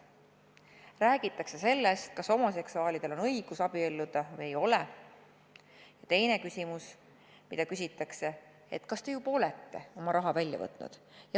Räägitakse sellest, kas homoseksuaalidel on õigus abielluda või ei ole, ja teine küsimus, mida küsitakse, on see, kas te juba olete oma raha välja võtnud.